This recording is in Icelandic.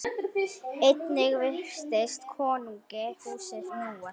Einnig virtist konungi húsið snúast.